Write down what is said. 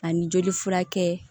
Ani joli furakɛ